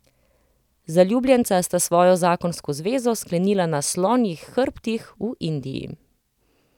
Zaljubljenca sta svojo zakonsko zvezo sklenila na slonjih hrbtih v Indiji.